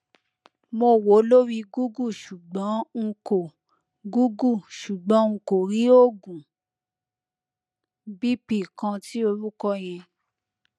mo wo lori google ṣugbọn nko google ṣugbọn nko rii oogun bp kan ti orukọ yẹn